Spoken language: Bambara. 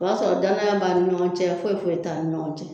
O b'a sɔrɔ danaya b'an ni ɲɔgɔn cɛ foyi foyi t'an ni ɲɔgɔn cɛ.